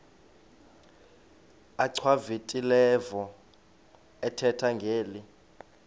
achwavitilevo ethetha ngeli